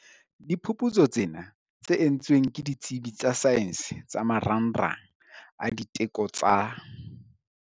Diphuputsu tsena, tse entsweng ke ditsebi tsa saene tsa Marangrang a Diteko tsa.